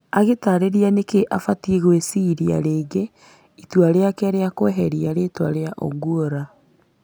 Agĩtaarĩria nĩkĩ abatie gwĩciiria rĩngĩ itua rĩake rĩa kweheria rĩtwa rĩa Ogwora.